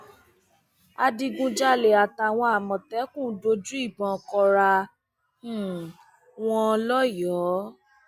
adigunjalè àtàwọn àmọtẹkùn dojú ìbọn kóra um wọn lọyọọ